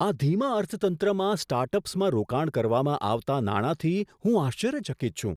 આ ધીમા અર્થતંત્રમાં સ્ટાર્ટઅપ્સમાં રોકાણ કરવામાં આવતા નાણાંથી હું આશ્ચર્યચકિત છું.